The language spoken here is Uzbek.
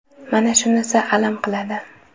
Mana shunisi alam qiladi.